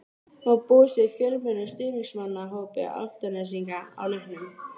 Má búast við fjölmennum stuðningsmannahópi Álftnesinga á leiknum?